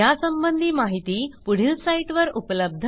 यासंबंधी माहिती पुढील साईटवर उपलब्ध आहे